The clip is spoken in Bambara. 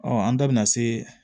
an da bɛna se